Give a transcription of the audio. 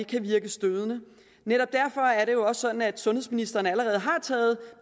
kan virke stødende netop derfor er det jo også sådan at sundhedsministeren allerede har